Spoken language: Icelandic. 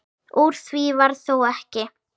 Úr því varð þó ekki.